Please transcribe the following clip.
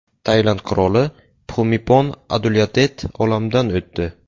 Tailand qiroli Pxumipon Adulyadet olamdan o‘tdi.